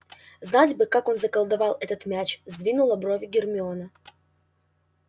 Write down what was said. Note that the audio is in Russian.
знать бы как он заколдовал этот мяч сдвинула брови гермиона